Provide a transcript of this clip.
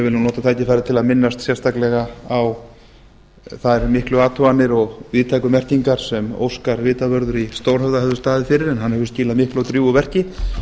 nú nota tækifærið til að minnast sérstaklega á þær miklu athuganir og víðtæku merkingar sem óskar vitavörður í stórhöfða hefur staðið fyrir hann hefur skilað miklu og drjúgu verki